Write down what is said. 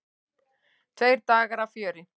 Tveir dagar af fjöri.